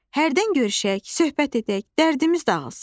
Hərdən görüşək, söhbət edək, dərdimiz dağılsın.